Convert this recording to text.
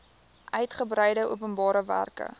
uigebreide openbare werke